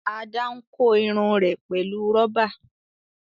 Ada n kò Irun rẹ pẹlú roba.